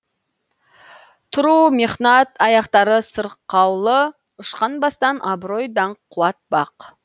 тұру мехнат аяқтары сырқаулы ұшқан бастан абырой даңқ қуат бақ